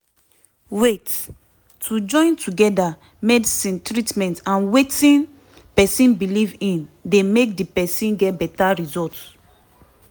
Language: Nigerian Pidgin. wait - to join together medicine treatment and wetin pesin belief in dey make di person get beta result